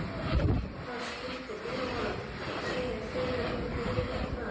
Hvað skyldi Eva segja þegar hún heyrir þetta?